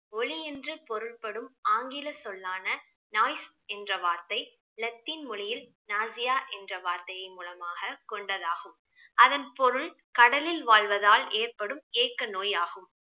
ஒலி என்று பொருள்படும் ஆங்கில சொல்லான என்ற வார்த்தை இலத்தீன் மொழியில் nausia என்ற வார்த்தையின் மூலமாக கொண்டதாகும் அதன் பொருள் கடலில் வாழ்வதால் ஏற்படும் ஏக்க நோயாகும்